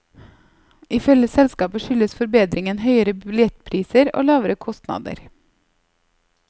Ifølge selskapet skyldes forbedringen høyere billettpriser og lavere kostnader.